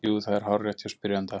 Jú, það er hárrétt hjá spyrjanda.